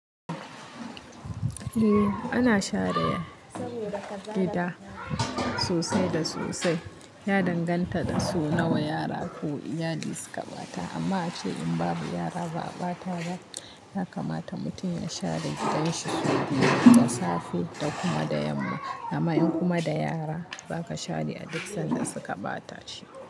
Eh ana share gida sosai da sosai. Ya danganta da sau nawa yara ko iyali suka ɓata amma ace in babu yara ba a ɓata ba, ya kamata mutum ya share gidanshi sau biyu, da safe da kuma da yamma. Amma in kuma da yara, ba ka share a duk sanda suka ɓata shi.